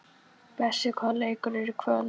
Bessi, hvaða leikir eru í kvöld?